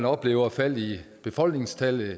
oplever fald i befolkningstallet